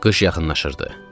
Qış yaxınlaşırdı.